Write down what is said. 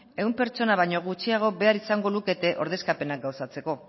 ehun pertsona baino gutxiago behar izango lukete ordezkapenak gauzatzeko